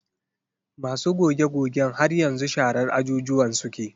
Masu goge-gogen har yanzu sharar ajujuwan suke.